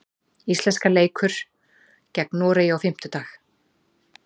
Íslenska leikur gegn Noregi á fimmtudag.